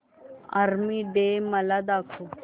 army day मला दाखव